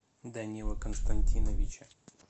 данила константиновича